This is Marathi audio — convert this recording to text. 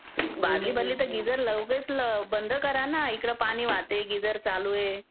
बादली भरली की उगाच लगेच गिझर बंद करा ना. इकडे पाणी वाहते, गिझर चालू आहे